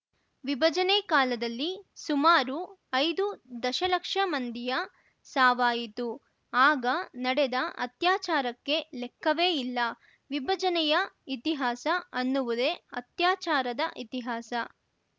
ವಿಭಜನೆ ಕಾಲದಲ್ಲಿ ಸುಮಾರು ಐದು ದಶಲಕ್ಷ ಮಂದಿಯ ಸಾವಾಯಿತು ಆಗ ನಡೆದ ಅತ್ಯಾಚಾರಕ್ಕೆ ಲೆಕ್ಕವೇ ಇಲ್ಲ ವಿಭಜನೆಯ ಇತಿಹಾಸ ಅನ್ನುವುದೇ ಅತ್ಯಾಚಾರದ ಇತಿಹಾಸ